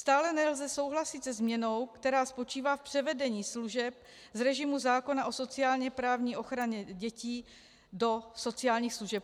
Stále nelze souhlasit se změnou, která spočívá v převedení služeb z režimu zákona o sociálně-právní ochraně dětí do sociálních služeb.